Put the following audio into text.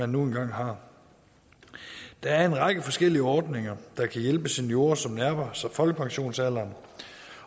nu engang har der er en række forskellige ordninger der kan hjælpe seniorer som nærmer sig folkepensionsalderen